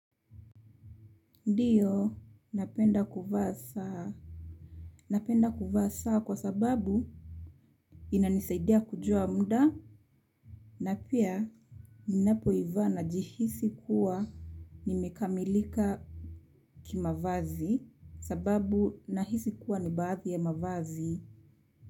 Ndiyo, napenda kuvaa saa, napenda kuvaa saa kwa sababu inanisaidia kujua muda na pia ninapoivaa najihisi kuwa nimekamilika kimavazi sababu nahisi kuwa ni baadhi ya mavazi.